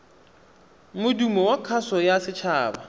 modumo wa kgaso ya setshaba